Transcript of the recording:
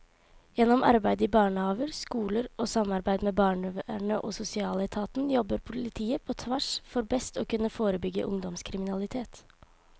Gjennom arbeid i barnehaver, skoler og samarbeid med barnevernet og sosialetaten jobber politiet på tvers for best å kunne forebygge ungdomskriminalitet.